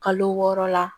Kalo wɔɔrɔ la